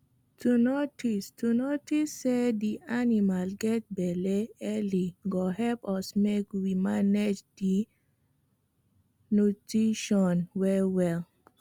to notice to notice say the animal get belle early go help us make we manage the nutition well well